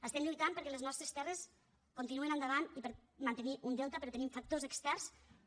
estem lluitant perquè les nostres terres continuïn endavant i per mantenir un delta però tenim factors externs que